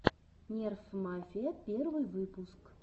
нерф мафия первый выпуск